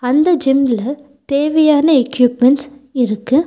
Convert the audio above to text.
அந்த ஜிம்ல தேவையான எக்யூப்மென்ட்ஸ் இருக்கு.